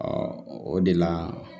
o de la